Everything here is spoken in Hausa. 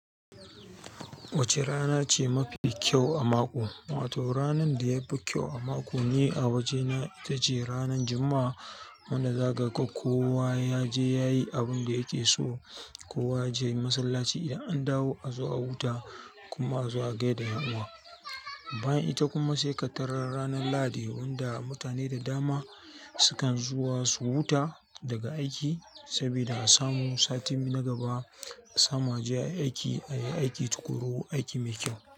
Wace rana ce mafi kyau a mako? Wato ranar da ya fi kyau a mako ni a waje na, ita ce ranar Juma'a. Wanda zagaka kowa yaje yayi abin da yake so, kowa yaje masallaci idan an dawo a zo a huta kuma a zo a gai da ƴan uwa. Bayan ita kuma sai ƙaddara ranar lahadi wanda mutane da dama sukan zuwa su huta daga aiki saboda a samu sati na gaba, a samu a je a yi aiki, a yi aiki tuƙuru, aiki mai kyau.